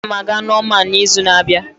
Aga m aga Norman n'izu na-abịa.